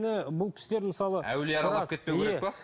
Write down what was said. бұл кісілер мысалы әулие аралап кетпеуі керек пе